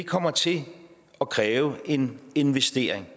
kommer til at kræve en investering